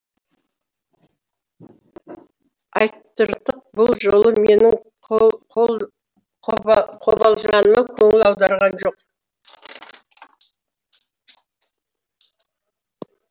айтыртық бұл жолы менің қобалжығаныма көңіл аударған жоқ